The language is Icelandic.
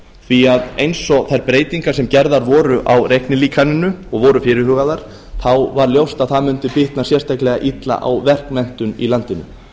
því að eins og þær breytingar sem gerðar voru á reiknilíkaninu og voru fyrirhugaðar þá var ljóst að það mundi bitna sérstaklega illa á verkmenntun í landinu